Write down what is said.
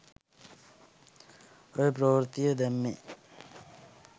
ඔය ප්‍රවෘත්තිය දැම්මේ